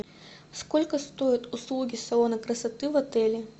сколько стоят услуги салона красоты в отеле